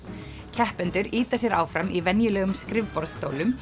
keppendur ýta sér áfram í venjulegum